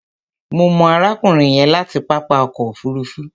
Mo mọ̀ arákùnrin yẹn láti pápá ọkọ̀ òfuruufú.